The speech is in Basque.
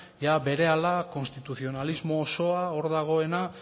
ia berehala konstituzionalismo osoa hor dagoena